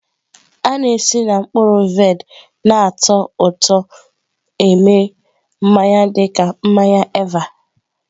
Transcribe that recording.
A na-esi na mkpụrụ vaịn na-atọ ụtọ eme mmanya dị ka mmanya Eva.